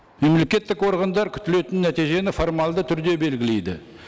мемлекеттік органдар күтілетін нәтижені формалды түрде белгілейді